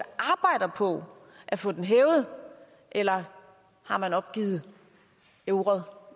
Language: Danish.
arbejder på at få den hævet eller har man opgivet ævred